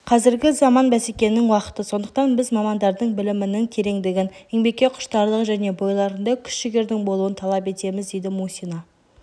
қазіргі заман бәсекенің уақыты сондықтан біз мамандардың білімінің тереңдігін еңбекке құштарлығы және бойларында күш-жігердің болуын талап етеміз дейді мусина